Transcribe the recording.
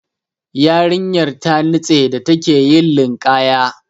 Yarinyan ta nitse da take yin linƙaya.